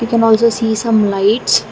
we can also see some lights.